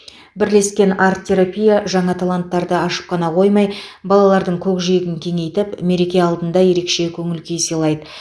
бірлескен арт терапия жаңа таланттарды ашып қана қоймай балалардың көкжиегін кеңейтіп мереке алдында ерекше көңіл күй сыйлайды